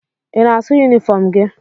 Ị na-asụ yunifọm gị?